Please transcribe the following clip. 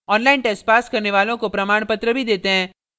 online test pass करने वालों को प्रमाणपत्र भी देते हैं